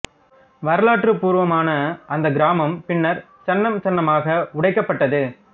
வரலாற்றுப் பூர்வமான அந்தக் கிராமம் பின்னர் சன்னம் சன்னமாக உடைக்கப் பட்டது